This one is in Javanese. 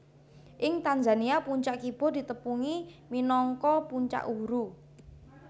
Ing Tanzania puncak Kibo ditepungi minangka Puncak Uhuru